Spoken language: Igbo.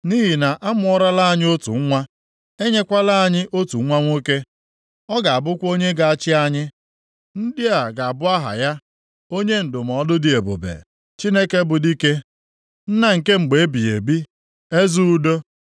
Nʼihi na amụọrala anyị otu nwa, e nyekwala anyị otu nwa nwoke. Ọ ga-abụkwa onye ga-achị anyị. Ndị a ga-abụ aha ya, Onye Ndụmọdụ dị Ebube, Chineke bụ dike, Nna nke mgbe ebighị ebi, Eze Udo.